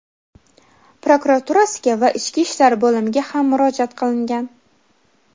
prokuraturasiga va Ichki ishlar bo‘limiga ham murojaat qilingan.